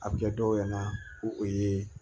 A bɛ kɛ dɔw ɲɛna ko o ye